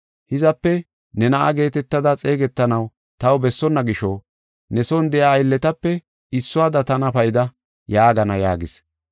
Hizape ne na7a geetetada xeegetanaw taw bessonna gisho, ne son de7iya aylletape issuwada tana payda’ yaagana” yaagis.